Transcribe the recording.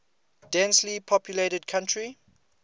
densely populated country